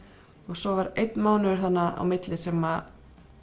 svo var einn mánuður þarna á milli sem